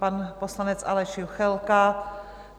Pan poslanec Aleš Juchelka.